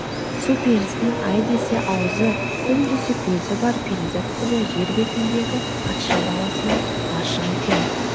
су перісінің ай десе аузы күн десе көзі бар перизат қызы жер бетіндегі патша баласына ғашық екен